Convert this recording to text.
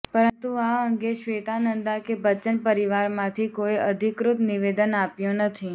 પરંતુ આ અંગે શ્વેતા નંદા કે બચ્ચન પરિવારમાંથી કોઇએ અધિકૃત નિવેદન આપ્યું નથી